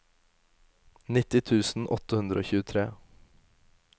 nitti tusen åtte hundre og tjuetre